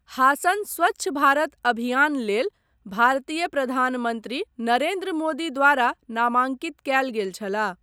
हासन स्वच्छ भारत अभियान लेल भारतीय प्रधानमन्त्री नरेन्द्र मोदी द्वारा नामाँकित कयल गेल छलाह।